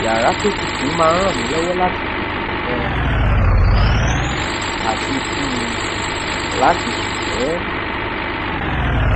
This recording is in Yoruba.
yàrá to tutù máa n rànmílówó láti tètè um sùn àti um lati sùn pé